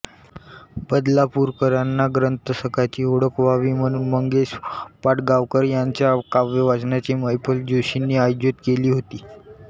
बदलापूरकरांना ग्रंथसखाची ओळख व्हावी म्हणून मंगेश पाडगांवकर यांच्या काव्यवाचनाची मैफल जोशींनी आयोजित केली होती